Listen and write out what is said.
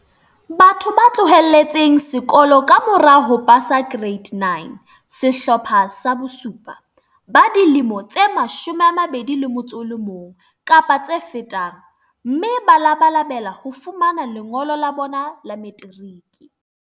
Batho ba tloheletseng sekolo ka mora ho pasa Ke reite 9, Sehlopha sa bo7, ba dilemo tse 21 kapa tse fetang, mme ba labalabela ho fumana lengolo la bona la materiki.